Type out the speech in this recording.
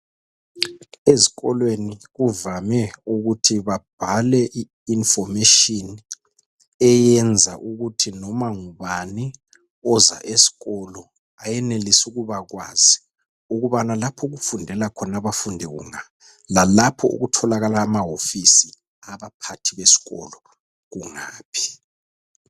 Ezikolweni kuvame ukuthi babhale I information eyenza ukuthi noma ngubani oza esikolo ayenelise ukubakwazi ukubana lapho okufundela khona abafundi kunga lalapho okutholakala amahofisi abaphathi besikolo kungaphi.